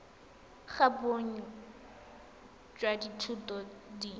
ga bonnye jwa dithuto di